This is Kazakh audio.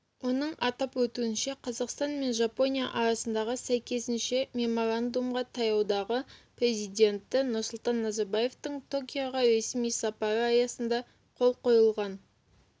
оның атап өтуінше қазақстан мен жапония арасындағы сәйкесінше меморандумға таяудағы президенті нұрсұлтан назарбаевтың токиоға ресми сапары аясында қол қойылған